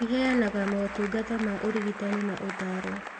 Ĩheanaga motungata ma ũrigitani na ũtaaro